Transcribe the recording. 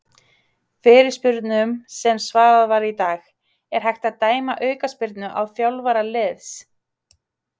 Fyrirspurnum sem svarað var í dag:- Er hægt að dæma aukaspyrnu á þjálfara liðs?